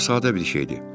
Bu çox sadə bir şeydir.